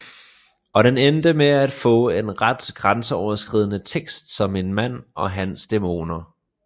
Og den endte med at få en ret grænseoverskridende tekst om en mand og hans dæmoner